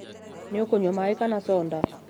Nĩũkũnywa maĩ kana soda?